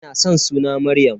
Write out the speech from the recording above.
Ina san suna Maryam.